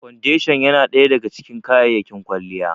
Foundation ya na ɗaya daga cikin kayyayakin kwalliya